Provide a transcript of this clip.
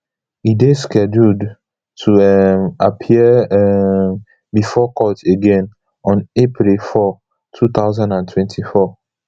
e dey scheduled to um appear um before court again on april four two thousand and twenty-four